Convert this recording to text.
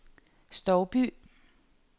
Stouby